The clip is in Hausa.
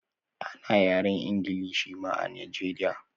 Ana yaren ingilish ma a nigeria